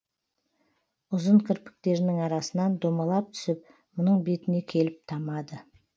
ұзын кірпіктерінің арасынан домалап түсіп мұның бетіне келіп тамады